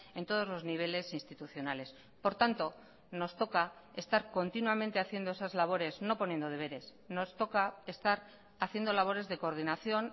en todos los niveles institucionales por tanto nos toca estar continuamente haciendo esas labores no poniendo deberes nos toca estar haciendo labores de coordinación